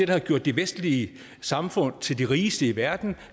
har gjort de vestlige samfund til de rigeste i verden